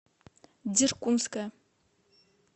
деркунская